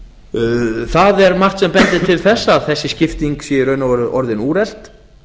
það er margt sem bendir til þess að þessi skipting sé í raun og veru orðin úrelt